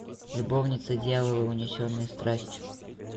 любовница дьявола унесенные страстью